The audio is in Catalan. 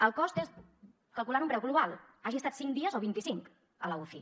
el cost és calculant un preu global hagi estat cinc dies o vint i cinc a la uci